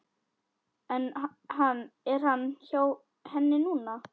Er hann hjá henni núna?